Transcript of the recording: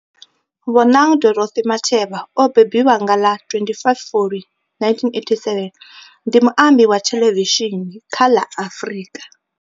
Bonang Dorothy Matheba o mbembiwa nga ḽa 25 Fulwi 1987, ndi muambi wa thelevishini kha la Afrika.